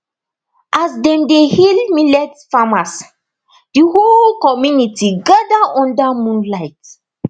as dem dey hail millet farmers the whole community gather under moonlight